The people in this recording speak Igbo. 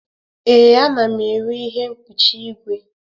Ee, ana m ere ihe mkpuchi igwe.